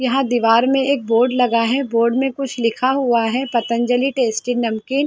यहाँ दीवार में एक बोर्ड लगा है बोर्ड में कुछ लिखा हुआ है पतंजली टेस्टी नमकीन --